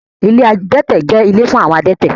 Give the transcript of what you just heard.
Ilé adẹ́tẹ̀ jẹ́ ilé fún àwọn adẹ́tẹ̀